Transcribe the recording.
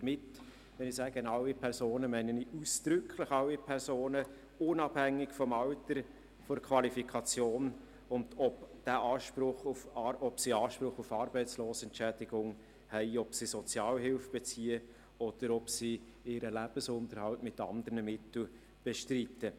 Wenn ich sage, alle Personen, meine ich ausdrücklich alle Personen, unabhängig vom Alter, von der Qualifikation und davon, ob sie Anspruch auf Arbeitslosenentschädigung haben, ob sie Sozialhilfe beziehen oder ob sie ihren Lebensunterhalt mit anderen Mitteln bestreiten.